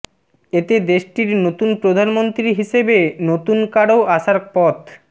এতে দেশটির নতুন প্রধানমন্ত্রী হিসেবে নতুন কারও আসার পথ